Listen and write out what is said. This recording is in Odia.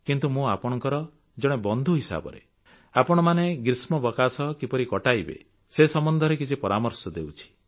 କିନ୍ତୁ ମୁଁ ଆପଣଙ୍କର ଜଣେ ବନ୍ଧୁ ହିସାବରେ ଆପଣମାନେ ଗ୍ରୀଷ୍ମାବକାଶ କିପରି କଟାଇବେ ସେ ସମ୍ବନ୍ଧରେ କିଛି ପରାମର୍ଶ ଦେଉଛି